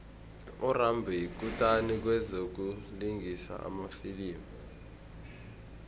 urambo yikutani kwezokulingisa emafilimini